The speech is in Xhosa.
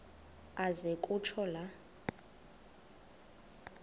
aze kutsho la